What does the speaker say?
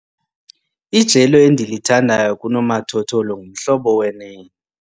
Ijelo endilithandayo kunomathotholo nguMhlobo wenene.